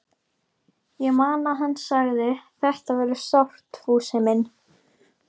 Ég man að hann sagði: Þetta verður sárt, Fúsi minn.